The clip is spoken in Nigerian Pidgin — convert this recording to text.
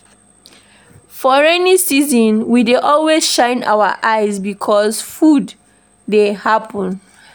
For rainy season we dey always shine our eyes because flood fit happen.